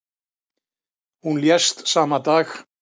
Hún lést sama dag.